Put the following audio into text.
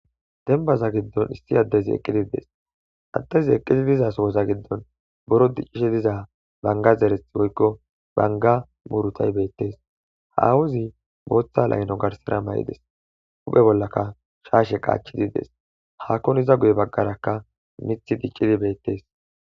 dembaza giddon issi addezi eqqidides addezi eqqidi dizasowoza giddon boro diccishe diza banga zereth woykko banga murutay beettes hawuzi booththa layno garsera may7ides uphe bollaka shaashe qaachidides hakon iza guye baggarakka mith diccidi beettes